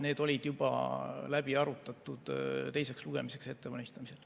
Need olid juba läbi arutatud teiseks lugemiseks ettevalmistamisel.